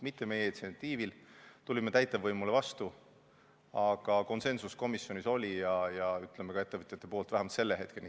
See ei ole toimunud meie initsiatiivil, me tulime täitevvõimule vastu, aga konsensus komisjonis oli, ka ettevõtjate poolt, vähemalt selle hetkeni.